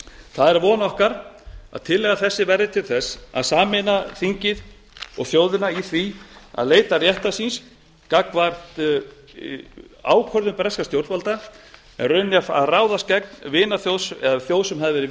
það er von okkar að tillaga þessi verði til að sameina þingið og þjóðina í því að leita réttar síns gagnvart ákvörðun breskra stjórnvalda en í rauninni að ráðast gegn þjóð sem hafði verið